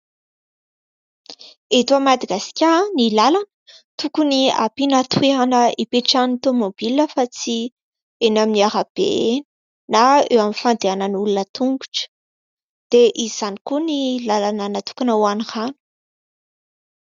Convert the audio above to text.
Eto Madagasikara ny lalana tokony ampiana toerana ipetrahan'ny tomobila fa tsy eny amin'ny arabe eny na eo amin'ny fandehanan'ny olona tongotra dia izany koa ny lalana natokana ho any rano.